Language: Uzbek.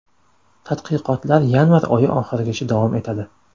Tadqiqotlar yanvar oyi oxirigacha davom etadi.